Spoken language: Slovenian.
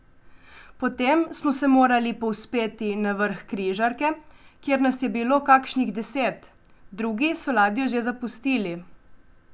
Potem smo se morali povzpeti na vrh križarke, kjer nas je bilo kakšnih deset, drugi so ladjo že zapustili.